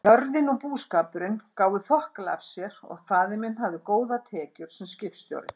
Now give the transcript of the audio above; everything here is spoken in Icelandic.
Jörðin og búskapurinn gáfu þokkalega af sér og faðir minn hafði góðar tekjur sem skipstjóri.